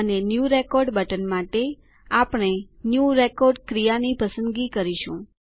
અને new record button માટે આપણે ન્યૂ રેકોર્ડ ક્રિયાની પસંદગી કરીશું